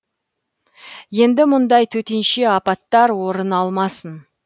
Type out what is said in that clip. енді мұндай төтенше апаттар орын алмасын